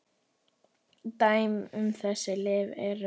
Dæmi um þessi lyf eru